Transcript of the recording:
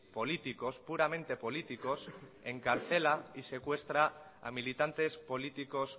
políticos puramente políticos encarcela y secuestra a militantes políticos